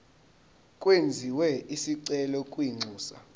kwenziwe isicelo kwinxusa